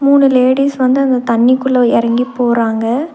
மூணு லேடீஸ் வந்து அந்த தண்ணிக்குள்ள எறங்கி போறாங்க.